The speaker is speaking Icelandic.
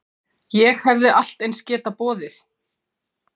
Ég hefði allt eins getað boðið